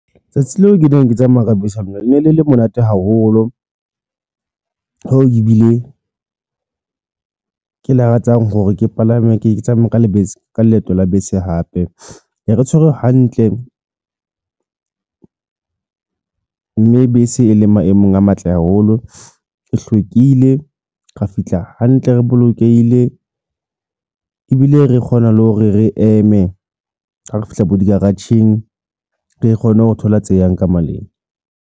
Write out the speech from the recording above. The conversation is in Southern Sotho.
Tsatsi leo ke neng ke tsamaya ka bese lona le ne le le monate haholo ho ebile ke lakatsang hore ke palame ke tsamaya ka lebese ka leeto la bese hape e re tshwere hantle ng mme bese e leng maemong a matle haholo, e hlwekile, ra fihla hantle, re bolokehile ebile re kgona le hore re eme ha re fihla bo di-garage-eng re kgone ho thola tse yang ka maleng.